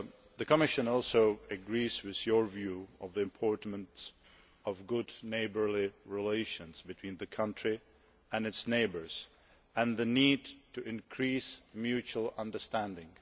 The Commission also agrees with your view of the importance of good neighbourly relations between the country and its neighbours and the need to increase mutual understanding.